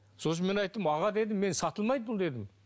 сосын мен айттым аға дедім мен сатылмайды бұл дедім